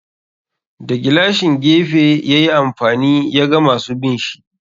Da gilashin gefe yayi amfani ya ga masu binshi.